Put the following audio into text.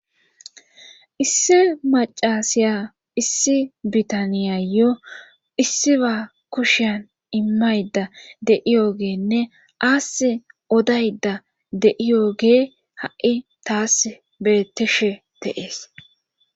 issi macasiya issi bitaniyayo issiba kushian immayda deiyoogeenne assi odayda deiyogee ha7i taas bettishe de7ees